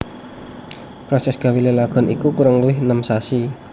Prosès gawé lalagon iku kurang luwih enem sasi